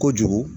Kojugu